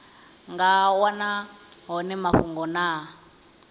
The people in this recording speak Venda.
nga wana hone mafhungo na